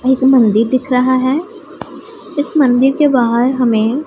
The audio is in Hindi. एक मंदिर दिख रहा है इस मंदिर के बाहर हमें --